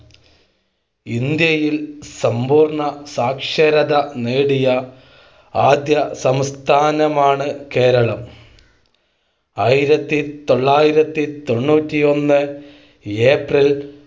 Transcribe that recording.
ഇന്ത്യയിൽ സമ്പൂർണ്ണസാക്ഷരത നേടിയ ആദ്യ സംസ്ഥാനമാണ്കേരളം. ആയിരത്തി തൊള്ളായിരത്തി തൊണ്ണൂറ്റി ഒന്ന് ഏപ്രിൽ